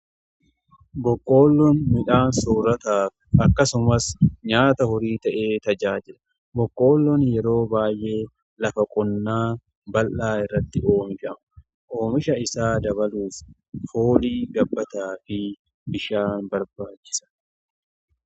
Boqqoolloon midhaan soorataaf akkasumas nyaata horii ta'ee tajaajila. Boqqoollon yeroo baay'ee lafa qonnaa bal'aa irratti oomishama. Oomisha isaa dabaluuf foolii gabbataa fi bishaan barbaachisa